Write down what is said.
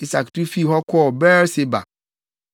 Isak tu fii hɔ kɔɔ Beer-Seba.